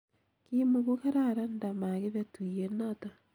ki muku kararan nda makibe tuyiet noto